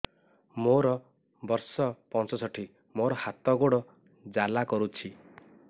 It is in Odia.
ମୋର ବର୍ଷ ପଞ୍ଚଷଠି ମୋର ହାତ ଗୋଡ଼ ଜାଲା କରୁଛି